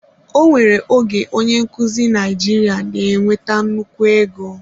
Ọ nwere oge onye nkuzi Naijiria na-enweta nnukwu ego.